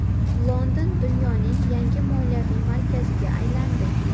London dunyoning yangi moliyaviy markaziga aylandi.